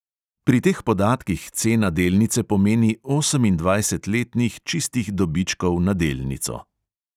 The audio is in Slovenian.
Pri teh podatkih cena delnice pomeni osemindvajset letnih čistih dobičkov na delnico.